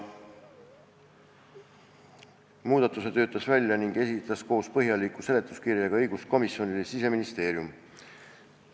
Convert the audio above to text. Muudatuse töötas välja ning esitas koos põhjaliku seletuskirjaga õiguskomisjonile Siseministeerium.